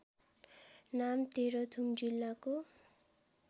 नाम तेह्रथुम जिल्लाको